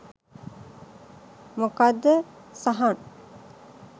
මොකක්ද සහන්